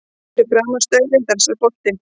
Fyrir framan staurinn dansar bolti.